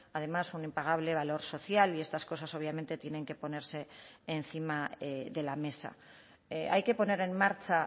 además un impagable valor social y estas cosas obviamente tienen que ponerse encima de la mesa hay que poner en marcha